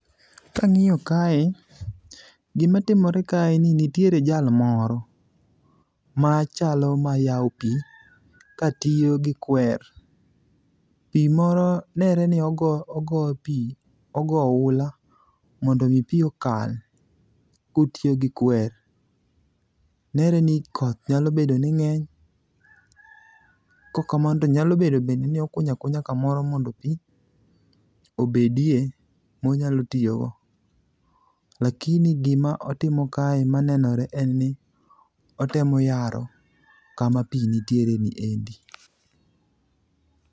Kang'iyo kae, gimatimore kae en ni nitiere jal moro machalo mayawo pi katiyo gi kwer, pi moro nere ni ogo pi, ogo ohula mondo omi pi okal kotiyo gi kwer. Nere ni koth nyalo bedo ni ng'eny ,kokamano to nyalo bedo ni bende okunyo akunya kamoro mondo pi obedie monyalo tiyogo. lakini gima otimo kae ma nenore en ni otemo yaro kama pi nitiere ni endi.